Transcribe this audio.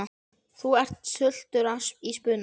Þú ert stuttur í spuna.